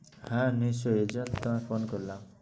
হ্যাঁ নিশ্চয়ই এজন্যে তো তোমায় phone করলাম।